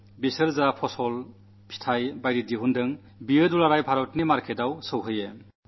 അവരുടെ വിളവ് പഴവർഗ്ഗങ്ങൾ തുടങ്ങിയവയെല്ലാം ഭാരതത്തിലെങ്ങുമുള്ള വിപണികളിലെത്തണമെന്ന് കർഷകരും ആഗ്രഹിക്കുന്നു